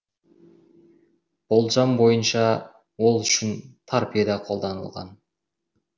болжам бойынша ол үшін торпеда қолданылған